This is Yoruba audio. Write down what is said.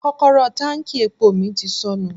Kọ́kọ́rọ́ táǹkì epo mi ti sọnù.